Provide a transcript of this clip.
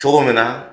Cogo min na